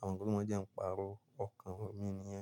Àwọn nǹkan tí wọ́n jẹ ń pàrọ̀ ọkàn mi nìyẹn.